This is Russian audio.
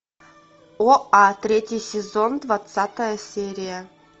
оа третий сезон двадцатая серия